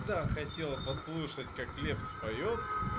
да хотела послушать как лепс поёт